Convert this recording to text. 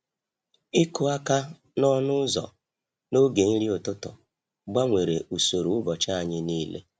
Ịkụ aka n’ọnụ ụzọ n’oge nri ụtụtụ gbanwere usoro ụbọchị anyị niile.